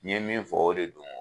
N ye min fɔ o de don